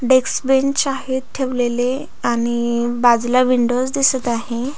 Desk bench आहेत ठेवलेले आणि बाजूला विंडोज दिसत आहे.